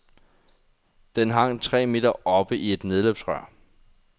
Den hang tre meter oppe i et nedløbsrør.